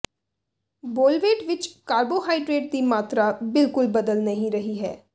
ਬੋਲਵੇਟ ਵਿਚ ਕਾਰਬੋਹਾਈਡਰੇਟ ਦੀ ਮਾਤਰਾ ਬਿਲਕੁਲ ਬਦਲ ਨਹੀਂ ਰਹੀ ਹੈ